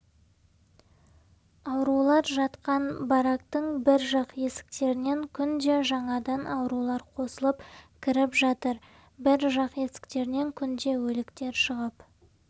аурулар жатқан барактың бір жақ есіктерінен күнде жаңадан аурулар қосылып кіріп жатыр бір жақ есіктерінен күнде өліктер шығып